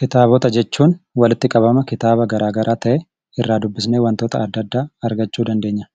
Kitaabota jechuun walitti qabama kitaaba garaagaraa ta'ee, irraa dubbisnee wantoota adda addaa argachuu dandeenya.